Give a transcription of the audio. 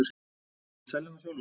Ég vil selja hana sjálfur.